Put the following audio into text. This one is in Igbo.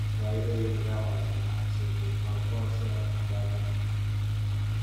Kwaa ire gị nga ma gbanahụ nsogbu, ’ ka akwụkwọ nsọ na - adọ aka ná ntị.